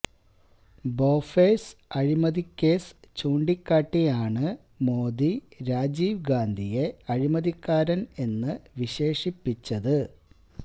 ബോഫേഴ്സ് അഴിമതിക്കേസ് ചൂണ്ടിക്കാട്ടിയാണ് മോദി രാജീവ് ഗാന്ധിയെ അഴിമതിക്കാരന് എന്ന് വിശേഷിപ്പിച്ചത്